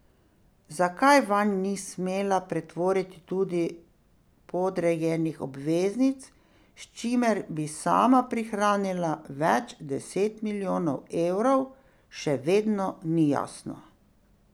Zakaj vanj ni smela pretvoriti tudi podrejenih obveznic, s čimer bi sama prihranila več deset milijonov evrov, še vedno ni jasno.